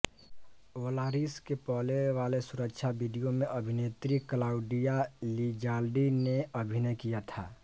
Volaris के पहले वाले सुरक्षा वीडियो में अभिनेत्री क्लाउडिया लिज़ाल्डी ने अभिनय किया था